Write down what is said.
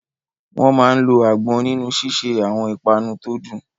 Wọ́n máa ń lo àgbọn nínú ṣíṣe àwọn ìpanu tó dùn